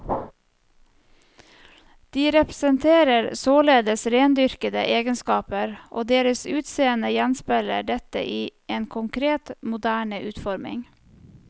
De representerer således rendyrkede egenskaper, og deres utseende gjenspeiler dette i en konkret, moderne utforming.